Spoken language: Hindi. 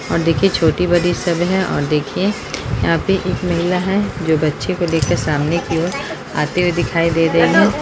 और देखिए छोटी-बड़ी सब है और देखिए यहाँ पे एक महिला है जो बच्चे को लेकर सामने की ओर आते हुए दिखाई दे रही है।